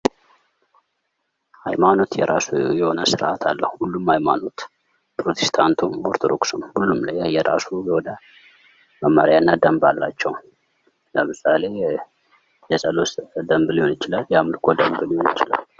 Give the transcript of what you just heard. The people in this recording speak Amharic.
ሃይማኖት የራሱ የሆነ ስርዓት አለው ሁሉም ሃይማኖት ፕሮቴስታንትም ኦርቶዶክስም ሁሉም የራሳቸው የሆነ መመርያ እና ደንብ አላቸው ለምሳሌ የፀሎት ደንብ ወይም የአምልኮ ደምብ ሊሆን ይችላል።